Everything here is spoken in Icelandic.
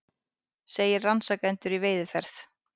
Segir rannsakendur í veiðiferð